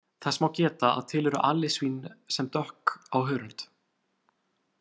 Þess má geta að til eru alisvín sem dökk á hörund.